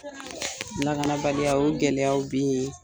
Lakanabaliya o gɛlɛyaw be ye